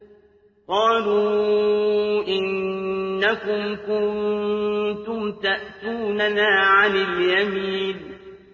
قَالُوا إِنَّكُمْ كُنتُمْ تَأْتُونَنَا عَنِ الْيَمِينِ